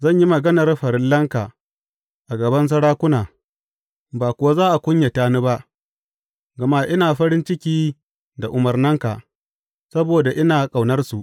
Zan yi maganar farillanka a gaban sarakuna ba kuwa za a kunyata ni ba, gama ina farin ciki da umarnanka saboda ina ƙaunarsu.